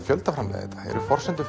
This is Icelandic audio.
fjöldaframleiða þá eru forsendur